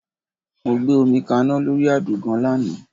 Mo gbé omi kaná lórí àdògán lánàá